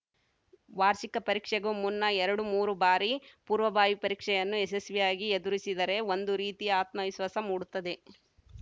ವಾರ್ಷಿಕ ಪರೀಕ್ಷೆಗೂ ಮುನ್ನ ಎರಡು ಮೂರು ಬಾರಿ ಪೂರ್ವಭಾವಿ ಪರೀಕ್ಷೆಯನ್ನು ಯಶಸ್ವಿಯಾಗಿ ಎದುರಿಸಿದರೆ ಒಂದು ರೀತಿಯ ಆತ್ಮವಿಶ್ವಾಸ ಮೂಡುತ್ತದೆ